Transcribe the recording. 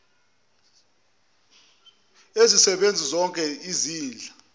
ezisebenzi kuzozoke izinhla